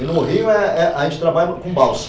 E no rio é é a gente trabalha com balsa.